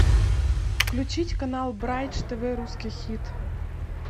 включить канал брайдж тв русский хит